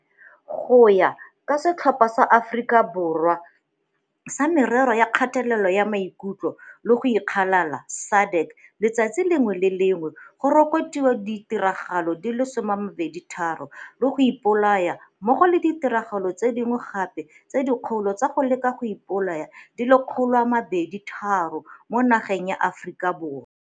Go ya ka Setlhopha sa Aforika Borwa sa Merero ya Kgatelelo ya Maikutlo le go Ikgalala SADAG, letsatsi le lengwe le le lengwe go rekotiwa ditiragalo di le 23 tsa go ipolaya mmogo le ditiragalo tse dingwe gape tse dikgolo tsa go leka go ipolaya di le 230 mo nageng ya Aforika Borwa.